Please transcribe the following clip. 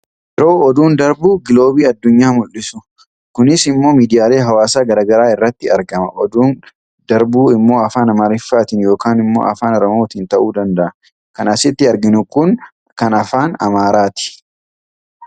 Yeroo oduun darbu giloobii addunyaa mul'isu. Kunis immoo miidiyaalee hawaasaa gara garaa irratti argama. Oduun darbu immoo afaan Amaariffaatiin yookaan immoo afaan Oromootiin ta'uu danda'a. Kan asittii arginu kun kan afaan Amaaraati.